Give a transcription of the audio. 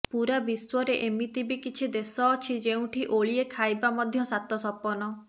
ପୂରା ବିଶ୍ୱରେ ଏମିତି ବି କିଛି ଦେଶ ଅଛି ଯେଉଁଠି ଓଳିଏ ଖାଇବା ମଧ୍ୟ ସାତ ସପନ